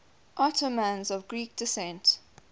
ottomans of greek descent